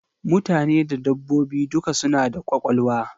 Mutane da dabbobi duka suna da kwakwalwa.